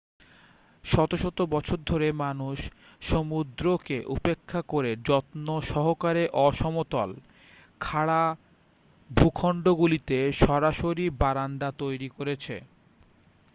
শত শত বছর ধরে মানুষ সমুদ্রকে উপেক্ষা করে যত্নসহকারে অসমতল খাড়া ভূখণ্ডগুলিতে সরাসরি বারান্দা তৈরি করেছে